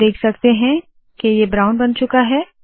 आप देख सकते है के ये ब्राउन बन चूका है